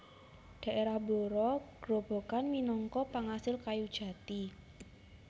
Daerah Blora Grobogan minangka pangasil kayu jati